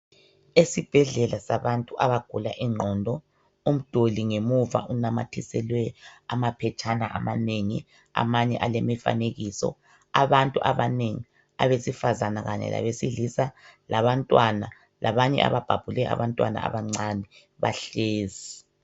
Esibhedlela sabantu abagula ingqondo. Umduli ngemuva unamathiselwe amaphetshana amanengi, amanye alemifanekiso. Abantu abanengi abesifazana kanye labesilisa labantwana labanye ababhabhule abantwana abancane bahlezi.